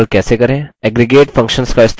aggregate functions का इस्तेमाल कैसे करें